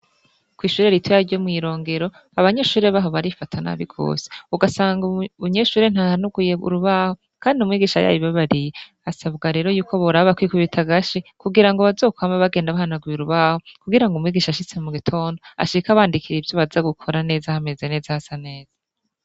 Kw'ishure rito ya ryo mw'irongero abanyeshure baho barifata n'abi gose ugasanga umunyeshure ntahanuguye urubaho, kandi umwigisha yayo ibabariye asabwa rero yuko boraba kwikubita agashi kugira ngo bazokwamba bagenda bahanuguye urubaho kugira ngo umwigisha ashitse mu gitondo ashika abandikire ivyo baza gukora neza hameza neza hasa neza.